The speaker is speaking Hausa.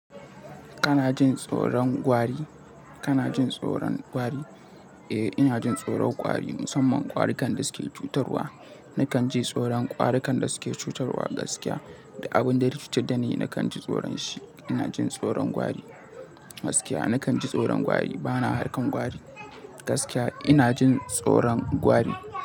Kana jin tsoron gwari? Kana jin tsoron gwari? Eh, ina jin tsoron gwari musamman gwarukan da suke cutarwa. Nakan ji tsoron gwarukan da suke cutarwa gaskiya. Da abin da ya cutar da ni, nakan ji tsoron shi. Ina jin tsoron gwari gaskiya. Nakan ji tsoron gwari. Bana harkan gwari gaskiya. Ina jin tsoron gwari.